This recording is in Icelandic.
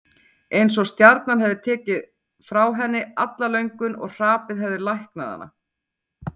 Einsog stjarnan hefði tekið frá henni alla löngun og hrapið hefði læknað hana.